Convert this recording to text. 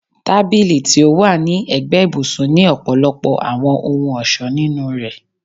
Tabili ti o wa ni ẹgbẹ ibusun ni ọpọlọpọ awọn ohun-ọṣọ ninu rẹ